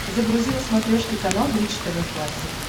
загрузи на смотрешке канал бридж тв классик